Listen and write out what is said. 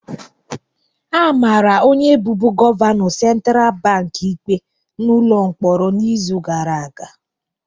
A mara onye bụbu gọvanọ Central Bank ikpe n'ụlọ mkpọrọ n'izu gara aga